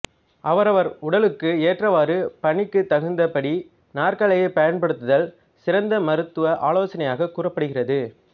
அவரவர் உடலுக்கு ஏற்றவாறு பணிக்கு தகுந்த படி நாற்காலியை பயன்படுத்துதல் சிறந்த மருத்துவ ஆலோசனையாகக் கூறப்படுகிறது